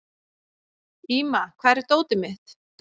Íma, hvar er dótið mitt?